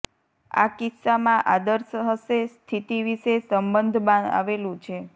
આ કિસ્સામાં આદર્શ હશે સ્થિતિ વિશે સંબંધ આવેલું છે